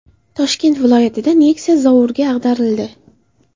Toshkent viloyatida Nexia zovurga ag‘darildi.